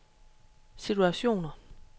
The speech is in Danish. situationer